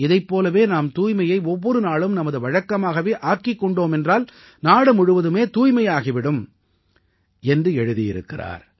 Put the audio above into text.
இதைப் போலவே நாம் தூய்மையை ஒவ்வொரு நாளும் நமது பழக்கமாகவே ஆக்கிக் கொண்டோமென்றால் நாடு முழுவதுமே தூய்மையாகி விடும் என்று எழுதியிருக்கிறார்